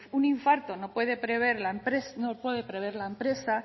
un infarto no puede prever la empresa